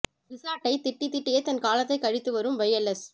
ரிஷாட்டை திட்டி திட்டியே தன் காலத்தை கழித்து வரும் வை எல் எஸ்